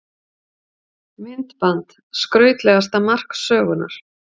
Myndband: Skrautlegasta mark sögunnar?